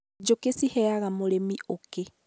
njũki ciheaga mũrĩmi ũũki.